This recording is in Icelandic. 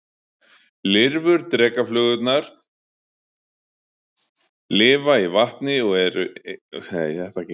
Lirfur drekaflugurnar lifa í vatni og eru einnig skæð rándýr.